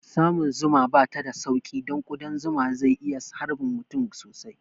Samun zuma bata da sauƙi don ƙudan zuma zai iya harbin mutum sosai